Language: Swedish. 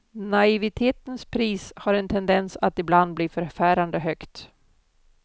Naivitetens pris har en tendens att ibland bli förfärande högt.